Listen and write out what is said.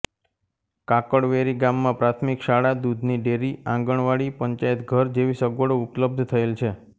કાકડવેરી ગામમાં પ્રાથમિક શાળા દૂધની ડેરી આંગણવાડી પંચાયતઘર જેવી સગવડો ઉપલબ્ધ થયેલ છે